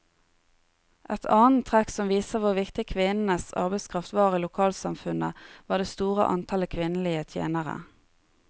Et annet trekk som viser hvor viktig kvinnenes arbeidskraft var i lokalsamfunnet, var det store antallet kvinnelige tjenere.